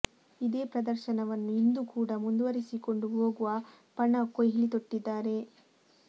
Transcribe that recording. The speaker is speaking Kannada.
ಇದೇ ಪ್ರದರ್ಶನವನ್ನು ಇಂದು ಕೂಡ ಮುಂದುವರೆಸಿಕೊಂಡು ಹೋಗುವ ಪಣ ಕೊಹ್ಲಿ ತೊಟ್ಟಿದ್ದಾರೆ